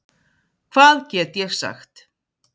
Hvað get ég sagt?